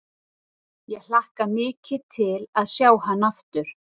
Ég hlakka mikið til að sjá hann aftur.